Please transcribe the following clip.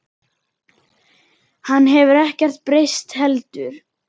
Hann hefur ekkert breyst heldur.